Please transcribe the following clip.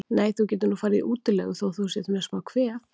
Nei, þú getur nú farið í útilegu þótt þú sért með smá kvef.